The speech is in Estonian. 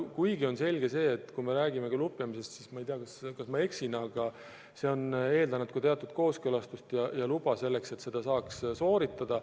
Samas on selge, et kui me räägime lupjamisest, siis vahest ma eksin, aga see on ikka eeldanud ka teatud kooskõlastust, luba selleks, et seda saaks teha.